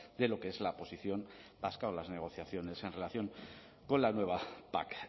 de lo que es la posición vasca o las negociaciones en relación con la nueva pac